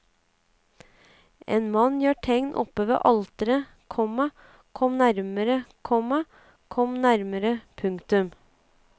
En mann gjør tegn oppe ved alteret, komma kom nærmere, komma kom nærmere. punktum